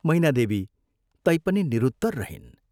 " मैनादेवी तैपनि निरुत्तर रहिन्।